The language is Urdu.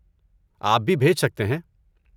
آپ بھی بھیج سکتے ہیں۔